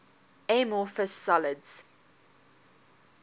amorphous solids